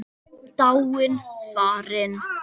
Dáin, farin.